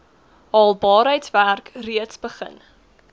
haalbaarheidswerk reeds begin